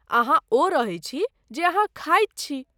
अहाँ ओ रहै छी, जे अहाँ खाइत छी।